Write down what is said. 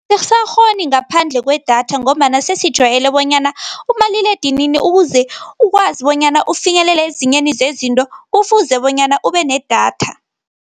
Awusakghona ngaphandle kwedatha ngombana sesijwayele bonyana umaliledinini ukuze ukwazi bonyana ufinyelele ezingeni zezinto, kufuze bonyana ubenedatha.